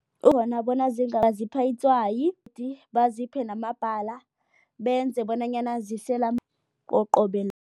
itswayi, baziphe namabhala benze bonanyana zisela qobe